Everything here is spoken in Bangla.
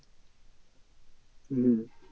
হম